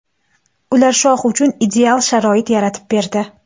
Ular Shoh uchun ideal sharoit yaratib berdi.